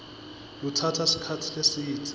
lutsatsa sikhatsi lesidze